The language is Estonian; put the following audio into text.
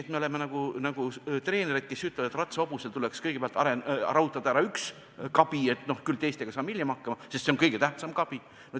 Ent me oleme nagu treenerid, kes ütlevad, et ratsahobusel tuleks kõigepealt rautada ära üks kabi, see kõige tähtsam kabi, küll teistega saame hiljem hakkama.